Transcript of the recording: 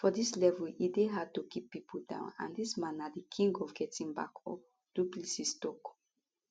for dis level e dey hard to keep pipo down and dis man na di king of getting back up du plessis tok